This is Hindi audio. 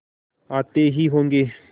आते ही होंगे